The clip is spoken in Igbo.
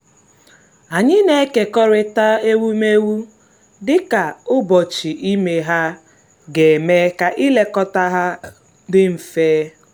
anyị na-ekekọrịta ewumewụ dịka ụbọchị ime ha ga-eme ka ilekọta ha dị mfe.